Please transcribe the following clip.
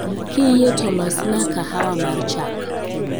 Kiyie to losna Kahawa mar chak